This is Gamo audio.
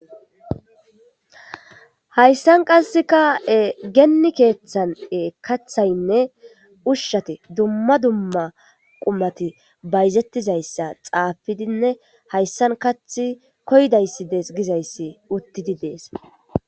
Haysan qasikka geni kethan kathaynne ushati dumma dumma qumati bayzetizaysa xafidinne haysan kathi koyidaysi desese gizaysa utidi des